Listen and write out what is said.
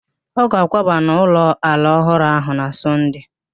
Ọ ga-akwaba n'ụlọ ala ọhụrụ ahụ na Sọnde